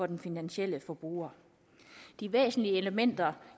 den finansielle forbruger de væsentlige elementer